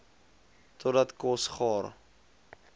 totdat kos gaar